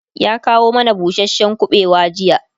ya kawo mana busashen kubewa jiya